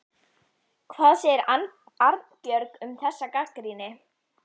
Hvað segir Arnbjörg um þessa gagnrýni?